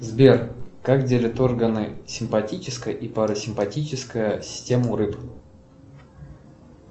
сбер как делит органы симпатическая и парасимпатическая система у рыб